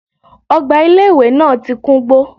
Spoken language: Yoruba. Ogbà ilé ìwé náà ti kúngbó